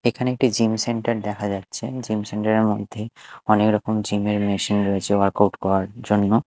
এখানে একটি gym centre দেখা যাচ্ছে জিম সেন্টার -এর মধ্যেই অনেক রকম জিম -এর মেশিন রয়েছে ওয়ার্কআউট করার জন্য।